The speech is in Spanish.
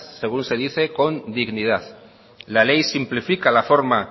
según se dice con dignidad la ley simplifica la forma